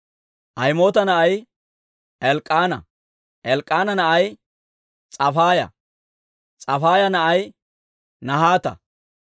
Ahimoota na'ay Elk'k'aana; Elk'k'aana na'ay S'ofaaya; S'ofaaya na'ay Nahaata;